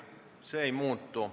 See ei muutu.